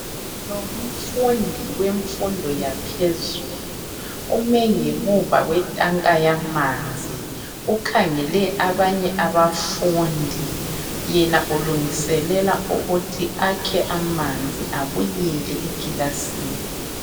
Lo ngumfundi wemfundo yaphezulu ume ngemva kwetanka yamanzi ukhangele abanye abafundi. Yena ulungiselela ukuthi akhe amanzi abuyele ekilasini.